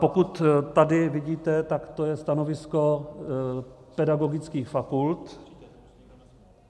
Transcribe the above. Pokud tady vidíte, tak to je stanovisko pedagogických fakult.